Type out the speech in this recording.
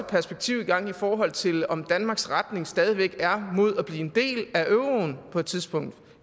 perspektiv i gang i forhold til om danmarks retning stadig væk er mod at blive en del af euroen på et tidspunkt